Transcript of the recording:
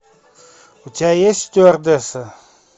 у тебя есть стюардесса